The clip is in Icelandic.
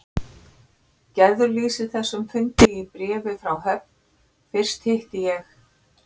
Gerður lýsir þessum fundi í bréfi frá Höfn: Fyrst hitti ég